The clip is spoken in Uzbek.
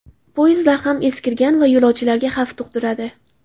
Poyezdlar ham eskirgan va yo‘lovchilarga xavf tug‘diradi.